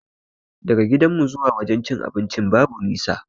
Daga gidanmu zuwa wajen cin abincin babu nisa